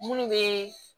Minnu bɛ